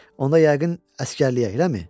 Onda yəqin əsgərliyə, eləmi?